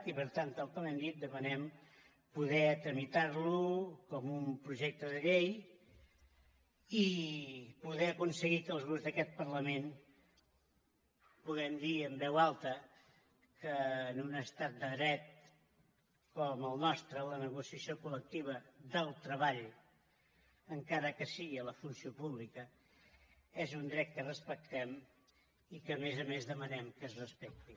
i per tant tal com hem dit demanem poder tramitar lo com un projecte de llei i poder aconseguir que els grups d’aquest parlament puguem dir en veu alta que en un estat de dret com el nostre la negociació col·lectiva del treball encara que sigui a la funció pública és un dret que respectem i que a més a més demanem que es respecti